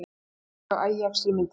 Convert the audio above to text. Eingöngu Ajax í myndinni